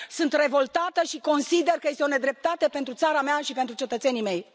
Sunt revoltată și consider că este o nedreptate pentru țara mea și pentru cetățenii mei.